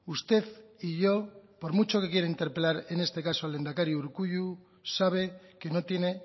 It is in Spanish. usted y yo por mucho que quiere interpelar en este caso al lehendakari urkullu sabe que no tiene